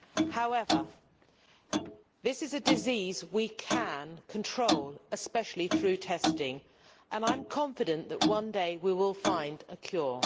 However, this is a disease we can control, especially through testing, and I am confident that one day we will find a cure.